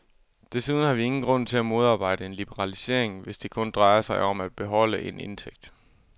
Desuden har vi ingen grund til at modarbejde en liberalisering, hvis det kun drejer sig om at beholde en indtægt.